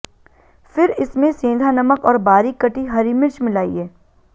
फिर इसमे सेंधा नमक और बारीक कटी हरी मिर्च मिलाइये